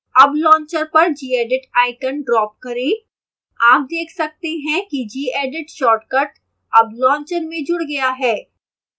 अब launcher पर gedit icon drop करें आप देख सकते हैं gedit शॉर्टकट अब launcher में जुड़ गया है